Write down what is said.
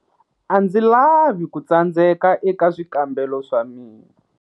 A ndzi lavi ku tsandzeka eka swikambelo swa mina.